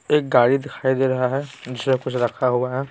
एक गाड़ी दिखाई दे रहा है जिसमें कुछ रखा हुआ है।